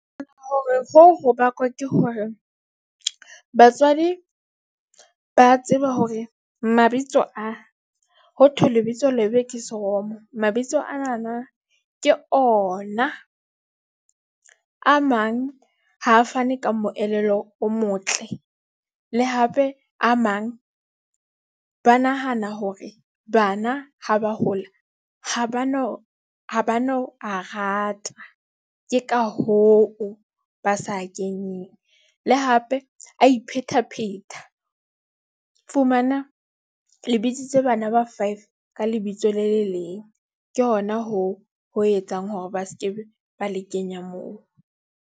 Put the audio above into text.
Hore hoo ho bakwa ke hore batswadi ba tseba hore mabitso a ho thwe lebitso lebe ke seromo. Mabitso ana na ke ona a mang ha a fane ka moelelo o motle. Le hape a mang ba nahana hore bana ha ba hola, ha ba no ha ba no a rata. Ke ka hoo ba sa kenyeng le hape a iphetapheta, fumana le bisitse bana ba five ka lebitso le le leng. Ke hona hoo ho etsang hore ba skebe ba le kenya moo.